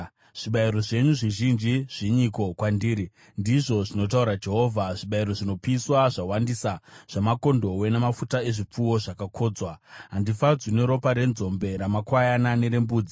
“Zvibayiro zvenyu zvizhinji, zvinyiko kwandiri?” ndizvo zvinotaura Jehovha. “Zvibayiro zvinopiswa zvawandisa, zvamakondobwe namafuta ezvipfuwo zvakakodzwa; Handifadzwi neropa renzombe, ramakwayana nerembudzi.